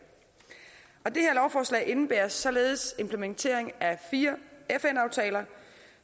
lovforslag indebærer således implementering af fire fn aftaler